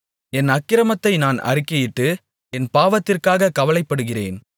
என் அக்கிரமத்தை நான் அறிக்கையிட்டு என் பாவத்திற்காக கவலைப்படுகிறேன்